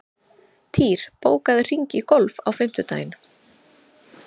Týr, bókaðu hring í golf á fimmtudaginn.